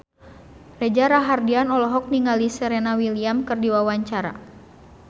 Reza Rahardian olohok ningali Serena Williams keur diwawancara